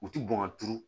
U ti bɔn ka turu